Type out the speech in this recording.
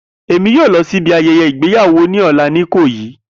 Emi yoo lọ si ibi ayẹyẹ igbeyawo ni ọla ni Ikoyi.